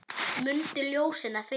Mundu ljósinu að fylgja.